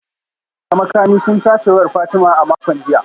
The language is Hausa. ‘Yan fashi da makami sun sace wayar Fatima a makon jiya